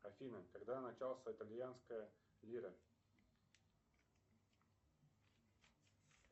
афина когда начался итальянская лира